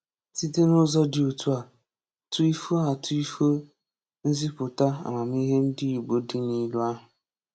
site n'ụzọ dị otu a tuifuo a tuifuo nzipụta amamihe ndị Igbo dị n'ilu ahụ.